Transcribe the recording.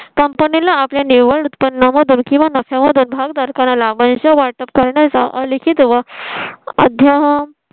company ला आपल्या निव्वळ उत्पन्न मधून किंवा नफ्या मधून भागधारकांना लाभांश वाटप करण्याचा लिखीत व अध्या